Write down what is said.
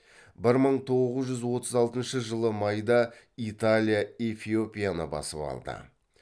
бір мың тоғыз жүз отыз алтыншы жылы майда италия эфиопияны басып алды